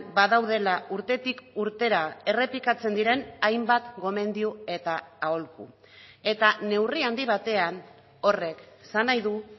badaudela urtetik urtera errepikatzen diren hainbat gomendio eta aholku eta neurri handi batean horrek esan nahi du